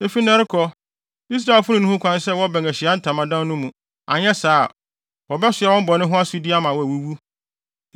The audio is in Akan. Efi nnɛ rekɔ, Israelfo no nni ho kwan sɛ wɔbɛn Ahyiae Ntamadan no mu; anyɛ saa a, wobɛsoa wɔn bɔne ho asodi ama wɔawuwu.